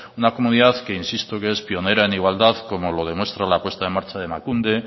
una comunidad que insisto que es pionera en igualdad como lo demuestra la puesta en marcha de emakunde